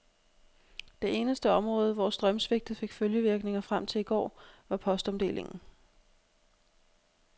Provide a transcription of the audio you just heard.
Det eneste område, hvor strømsvigtet fik følgevirkninger frem til i går, var postomdelingen.